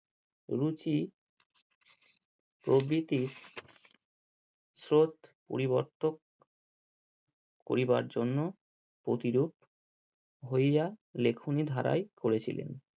রুচি প্রভৃতি স্রোত পরিবর্তক করিবার জন্য প্রতিরূপ হইয়া লেখনি ধারায় করেছিলেন।